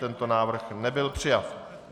Tento návrh nebyl přijat.